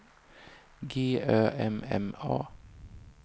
G Ö M M A